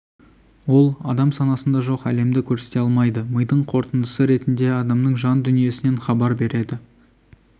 ол адам санасында жоқ әлемді көрсете алмайды мидың қорытындысы ретінде адамның жан дүниесінен хабар береді